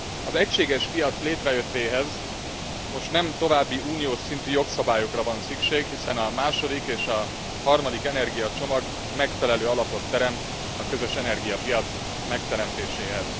Az egységes piac létrejöttéhez most nem további uniós szintű jogszabályokra van szükség, hiszen a második és a harmadik energiacsomag megfelelő alapot teremt a közös energiapiac megteremtéséhez.